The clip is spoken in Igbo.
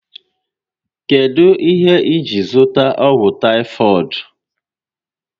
Kedụ ihe iji zụta ọgwụ taifoidu?